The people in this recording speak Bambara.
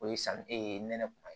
O ye san e nɛnɛkun man ye